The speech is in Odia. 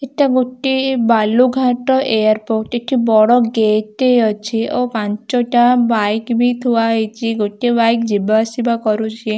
ଏଟା ଗୋଟେ ବାଲୁଘାଟ ଏୟାରପୋର୍ଟ ଏଠି ବଡ ଗେଟ୍‌ ଟେ ଅଛି ଆଉ ପାଞ୍ଚଟା ବାଇକ୍‌ ବି ଥୁଆହେଇଛି ଗୋଟେ ବାଇକ୍‌ ଯିବା ଆସିବା କରୁଛି ।